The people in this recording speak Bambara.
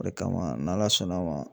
O de kama n'Ala sɔnn'a ma